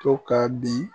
To ka bin